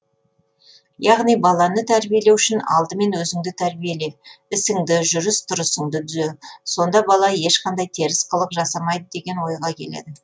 яғни баланы тәрбиелеу үшін алдымен өзіңді тәрбиеле ісіңді жүріс тұрысыңды түзе сонда бала ешқандай теріс қылық жасамайды деген ойға келеді